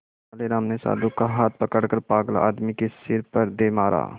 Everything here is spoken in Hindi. तेनालीराम ने साधु का हाथ पकड़कर पागल आदमी के सिर पर दे मारा